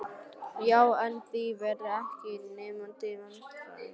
Já, en þið verðið ekki í neinum vandræðum.